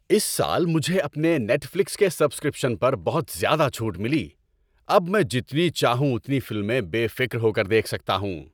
اس سال مجھے اپنے نیٹ فلکس کے سبسکرپشن پر بہت زیادہ چھوٹ ملی۔ اب میں جتنی چاہوں اتنی فلمیں بے فکر ہو کر دیکھ سکتا ہوں۔